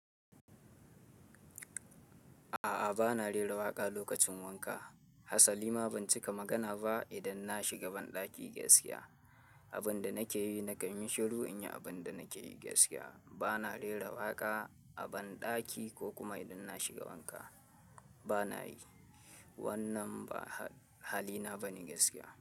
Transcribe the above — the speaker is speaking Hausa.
A a bana rera waƙa lokacin wanka. Hasalima ban cika magana ba idan na shiga banɗaki gaskiya. Abin da nake yi nakan yi shiru in yi abin da nake yi gaskiya. Ba na rera waƙa a banɗaki ko kuma idan na shiga wanka banayi. Wannan ba halina bane gaskiya.